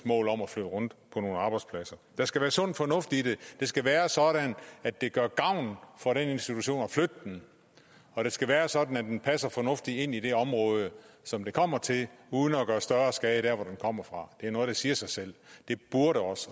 mål om at flytte rundt på nogle arbejdspladser der skal være sund fornuft i det det skal være sådan at det gør gavn for den pågældende institution at flytte den og det skal være sådan at den passer fornuftigt ind i det område som den kommer til uden at gøre større skade der hvor den kommer fra det er noget der siger sig selv